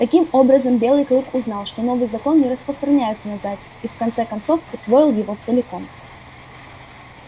таким образом белый клык узнал что новый закон не распространяется на зайцев и в конце концов усвоил его целиком